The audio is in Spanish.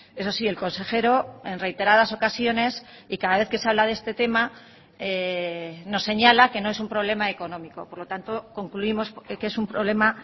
eso sí el consejero en reiteradas ocasiones y cada vez que se habla de este tema nos señala que no es un problema económico por lo tanto concluimos que es un problema